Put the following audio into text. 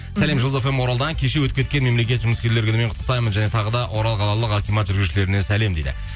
сәлем жұлдыз фм оралдан кеше өтіп кеткен мемлекет жұмыскерлер күнімен құттықтаймын және тағы да орал қалалық акимат жүргізушілеріне сәлем дейді